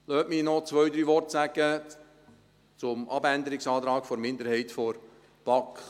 Lassen Sie mich noch zwei, drei Worte zum Abänderungsantrag der Minderheit der BaK sagen.